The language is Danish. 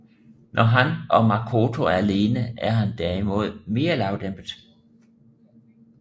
Når han og Makoto er alene er han derimod mere lavdæmpet